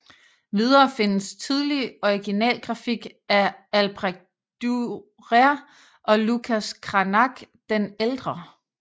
Videre findes tidlig originalgrafik av Albrecht Dürer og Lucas Cranac den ældre